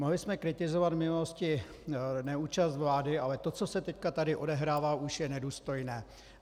Mohli jsme kritizovat v minulosti neúčast vlády, ale to, co se teď tady odehrává, už je nedůstojné.